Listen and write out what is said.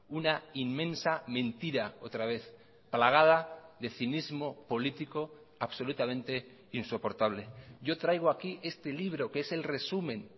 una inmensa mentira otra vez plagada de cinismo político absolutamente insoportable yo traigo aquí este libro que es el resumen